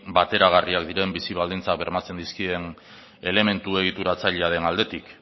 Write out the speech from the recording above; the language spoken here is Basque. bateragarriak diren bizi baldintzak bermatzen dizkien elementu egituratzailearen aldetik